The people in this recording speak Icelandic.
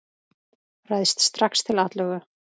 Ræðst strax til atlögu.